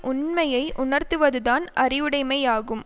உண்மையை உணர்த்துவதுதான் அறிவுடைமையாகும்